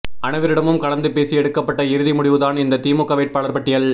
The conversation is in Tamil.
அனைவரிடமும் கலந்து பேசி எடுக்கப்பட்ட இறுதி முடிவுதான் இந்த திமுக வேட்பாளர் பட்டியல்